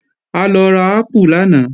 A lọ ra ápù lánàá